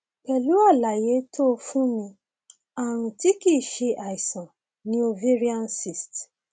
pẹlú àlàyé tó o fún mi ààrùn tí kìí ṣe àìsàn ni ovarian cyst